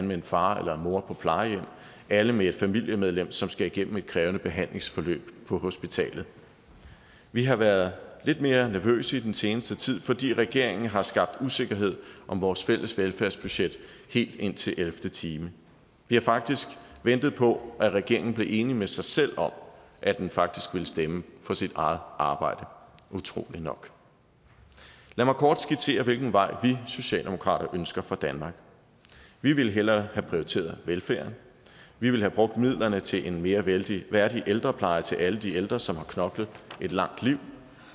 med en far eller en mor på plejehjem alle med et familiemedlem som skal igennem et krævende behandlingsforløb på hospitalet vi har været lidt mere nervøse i den seneste tid fordi regeringen har skabt usikkerhed om vores fælles velfærdsbudget helt indtil ellevte time vi har faktisk ventet på at regeringen blev enig med sig selv om at den faktisk ville stemme for sit eget arbejde utrolig nok lad mig kort skitsere hvilken vej vi socialdemokrater ønsker for danmark vi ville hellere have prioriteret velfærden vi ville have brugt midlerne til en mere værdig værdig ældrepleje til alle de ældre som har knoklet et langt liv